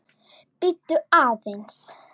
Bíddu aðeins